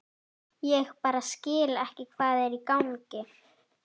Ég bara skil ekki hvað er í gangi.